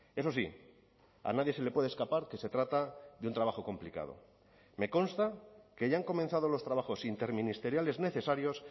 eso sí a nadie se le puede escapar que se trata de un trabajo complicado me consta que ya han comenzado los trabajos interministeriales necesarios